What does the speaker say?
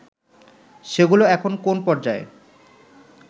সেগুলো এখন কোন পর্যায়ে